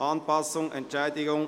«Anpassung Entschädigung